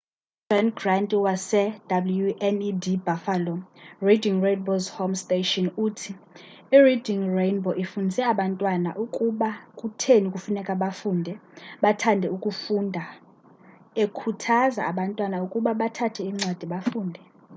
u -john grant wase-wned buffalo reading rainbow's home station uthi : i-reading rainbow ifundise abantwana ukuba kutheni kufuneka bafunde, bathande ukufunda-[umboniso] ekhuthaza abantwana ukuba bathabathe incwadi bafunde.